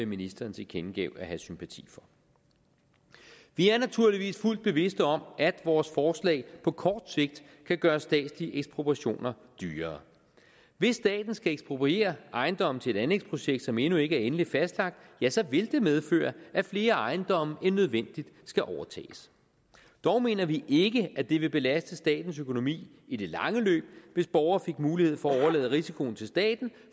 ministeren tilkendegav at have sympati for vi er naturligvis fuldt bevidste om at vores forslag på kort sigt kan gøre statslige ekspropriationer dyrere hvis staten skal ekspropriere ejendomme til et anlægsprojekt som endnu ikke er endeligt fastlagt ja så vil det medføre at flere ejendomme end nødvendigt skal overtages dog mener vi ikke at det ville belaste statens økonomi i det lange løb hvis borgere fik mulighed for at overlade risikoen til staten